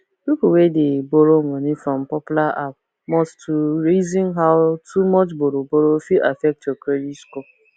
people wey dey borrow money from popular app must to reason how too much borrowborrow fit affect your credit score